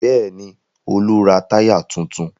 Bẹ́ẹ̀ ni, Olú ra tyre tuntun.